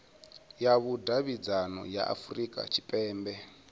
ya vhudavhidzano ya afurika tshipembe